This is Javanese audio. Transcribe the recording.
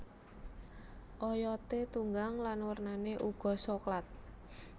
Oyote tunggang lan wernane uga soklat